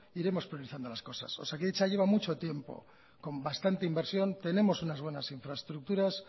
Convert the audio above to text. iremos priorizando las cosas osakidetza lleva mucho tiempo con bastante inversión tenemos unas buenas infraestructuras